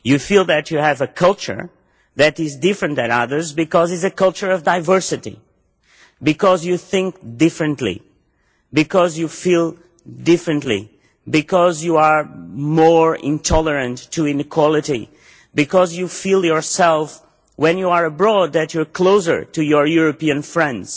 You feel that you have a culture that is different to others because it is a culture of diversity, because you think differently, you feel differently, because you are more intolerant of inequality, because you feel yourself, when you are abroad, that you are closer to your European friends.